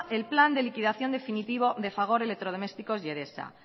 del plan de liquidación definitivo de fagor electrodomésticos y edesa